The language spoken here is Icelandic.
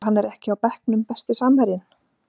þegar hann er ekki á bekknum Besti samherjinn?